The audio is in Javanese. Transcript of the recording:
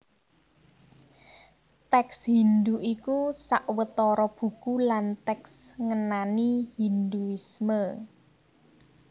Tèks Hindhu iku sawetara buku lan tèks ngenani Hindhuisme